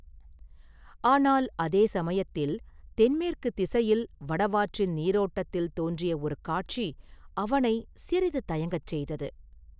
ஆனால் அதே சமயத்தில் தென்மேற்குத் திசையில் வடவாற்றின் நீரோட்டத்தில் தோன்றிய ஒரு காட்சி அவனைச் சிறிது தயங்கச் செய்தது.